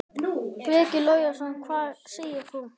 Breki Logason: Hvað segir þú?